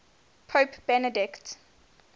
pope benedict